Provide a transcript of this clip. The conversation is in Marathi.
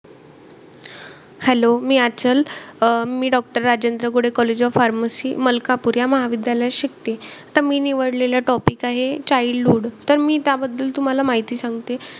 Hello मी आचल. मी अं Rajendra Gudhe college of pharmacy Malkapur या महाविद्यालयात शिकते. त मी निवडलेला topic आहे childhood. त मी त्याबद्दल तुम्हाला माहिती सांगते.